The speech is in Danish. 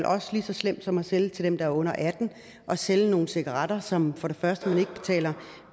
også lige så slemt som at sælge til dem der er under atten år at sælge nogle cigaretter som for det første